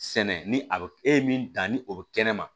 Sɛnɛ ni a bɛ e ye min dan ni o bɛ kɛnɛ ma